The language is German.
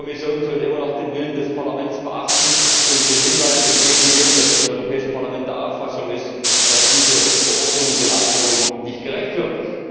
Ich denke, die Kommission sollte immer noch den Willen des Parlaments beachten und den Hinweis annehmen, dass das Europäische Parlament der Auffassung ist, dass diese Verordnung den Anforderungen nicht gerecht wird.